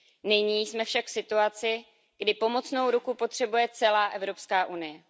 Nyní jsme však v situaci, kdy pomocnou ruku potřebuje celá Evropská unie.